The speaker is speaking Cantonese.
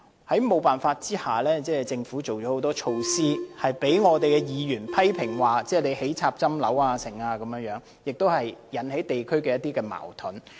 在沒有辦法的情況下，政府提出很多措施，例如興建被議員批評的"插針樓"等，引起地區的一些矛盾。